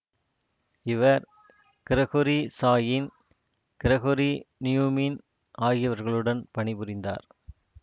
இவர் Gregory Chaitin Gregory நியூய்மின் ஆகியவர்களுடன் பணிபுரிந்தார்